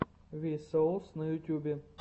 ви соус на ютубе